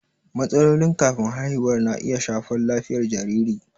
Matsalolin kafin haihuwa na iya shafar lafiyar jariri.